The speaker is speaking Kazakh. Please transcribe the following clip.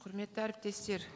құрметті әріптестер